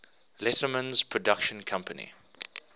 letterman's production company